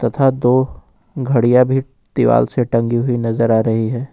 तथा दो घडिया भी दीवाल से टंगी हुई नजर आ रही है।